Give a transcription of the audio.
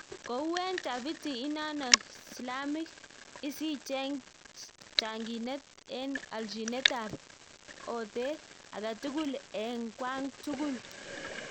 Kou en tafitii inano slamik isicheng changinet en alchinet ap otet aketugul en kwang tugul